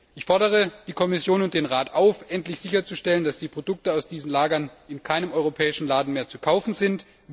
Ich fordere die Kommission und den Rat auf, endlich sicherzustellen, dass die Produkte aus diesen Lagern in keinem europäischen Laden mehr zu kaufen sind.